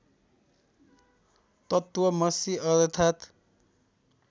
तत्त्वमसि अर्थात्